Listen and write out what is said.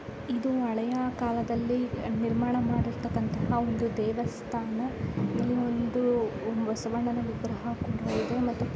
ಇದು ಹಳೆಯ ಕಾಲದಲ್ಲಿ ನಿರ್ಮಾಣ ಮಾಡಿರ್ತಕ್ಕಂತ ಒಂದು ದೇವಸ್ಥಾನ ಇಲ್ಲಿ ಒಂದು ಬಸವಣ್ಣನ ವಿಗ್ರಹ ಕೂಡಾ ಇದೆ ಮತ್ತು --